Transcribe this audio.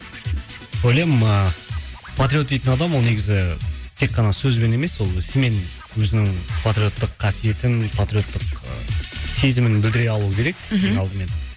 ойлаймын а патриот дейтін адам ол негізі тек қана сөзбен емес ол ісімен өзінің патриоттық қасиетін патриоттық сезімін білдіре алуы керек мхм ең алдымен